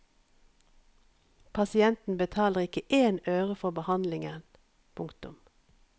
Pasienten betaler ikke én øre for behandlingen. punktum